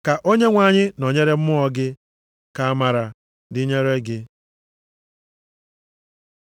Ka Onyenwe anyị nọnyere mmụọ gị. Ka amara dịnyere gị.